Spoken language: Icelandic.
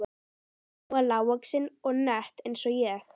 Hún var lágvaxin og nett eins og ég.